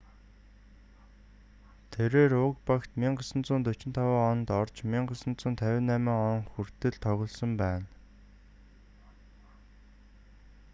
тэрээр уг багт 1945 онд орж 1958 он хүртэл тоглосон байна